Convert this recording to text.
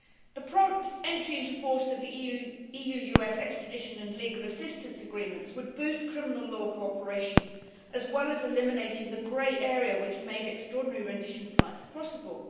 The prompt entry into force of the EU US extradition and legal assistance agreements would boost criminal law cooperation, as well as eliminating the grey area which made extraordinary rendition flights possible.